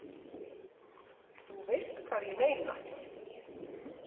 Þú veist hvað ég meina.